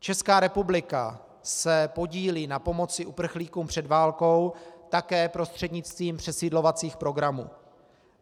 Česká republika se podílí na pomoci uprchlíkům před válkou také prostřednictvím přesídlovacích programů.